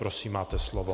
Prosím, máte slovo.